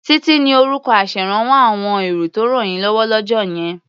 Títí ni orúkọ aṣèrànwọ́ àwọn èrò tó rànyínlọ́wọ́ lọ́jọ́ yẹn